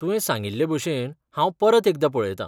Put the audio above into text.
तुवें सांगिल्लेभशेन, हांव परत एकदां पळयतां.